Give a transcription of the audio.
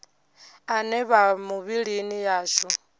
ane a vha mivhilini yashu